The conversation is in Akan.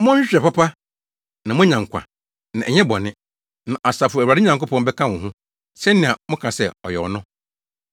Monhwehwɛ papa, na moanya nkwa na ɛnyɛ bɔne. Na Asafo Awurade Nyankopɔn bɛka wo ho, sɛnea moka sɛ ɔyɛ no.